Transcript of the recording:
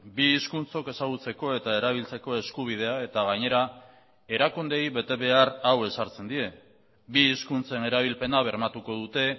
bi hizkuntzok ezagutzeko eta erabiltzeko eskubidea eta gainera erakundeei betebehar hau ezartzen die bi hizkuntzen erabilpena bermatuko dute